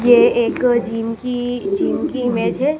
ये एक जिम की जिम की इमेज है।